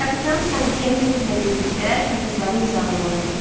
Kapitan Sanqlia Myurlə birlikdə kağızları imzalamalı idi.